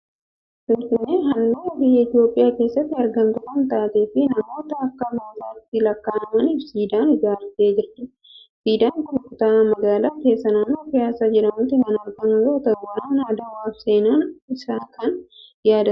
Finfinneen handhuura biyya Itoophiyaa keessatti argamtu kan taatee fi namoota akka goototaatti lakka'amaniif siidaa kan ijaartee jirtudha. Siidaan kun kutaa magaalattii keessaa naannoo Piyaasaa jedhamutti kan argamu yoo ta'u, waraana Adawaaf seenaan isaa kan yaadatamudha.